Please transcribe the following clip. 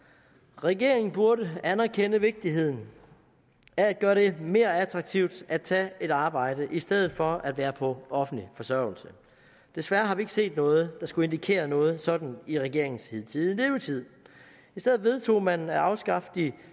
regeringen burde anerkende vigtigheden af at gøre det mere attraktivt at tage et arbejde i stedet for at være på offentlig forsørgelse desværre har vi ikke set noget der skulle indikere noget sådant i regeringens hidtidige levetid i stedet vedtog man at afskaffe de